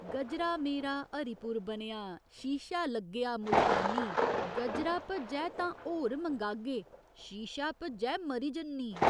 गजरा मेरा हरिपुर बनेआ शीशा लग्गेआ मुल्तानी गजरा भज्जै तां होर मंगागे, शीशा भज्जै मरी जन्नी।